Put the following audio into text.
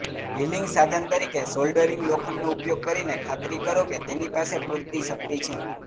healing સાધન તરીકે soldering લોખંડનો ઉપયોગ કરીને ખાતરી કરો કે તેની પાસે પૂરતી શક્તિ છે